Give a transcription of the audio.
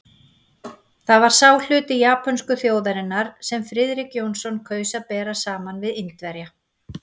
Það var sá hluti japönsku þjóðarinnar, sem Friðrik Jónsson kaus að bera saman við Indverja.